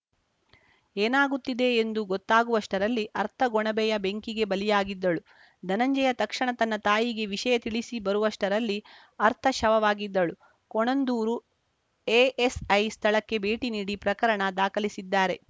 ಏನಾಗುತ್ತಿದೆ ಎಂದು ಗೊತ್ತಾಗುವಷ್ಟರಲ್ಲಿ ಅರ್ಥ ಗೊಣಬೆಯ ಬೆಂಕಿಗೆ ಬಲಿಯಾಗಿದ್ದಳು ಧನಂಜಯ ತಕ್ಷಣ ತನ್ನ ತಾಯಿಗೆ ವಿಷಯ ತಿಳಿಸಿಬರುವಷ್ಟರಲ್ಲಿ ಅರ್ಥ ಶವವಾಗಿದ್ದಳು ಕೋಣಂದೂರು ಎಎಸ್‌ಐ ಸ್ಥಳಕ್ಕೆ ಭೇಟಿ ನೀಡಿ ಪ್ರಕರಣ ದಾಖಲಿಸಿದ್ದಾರೆ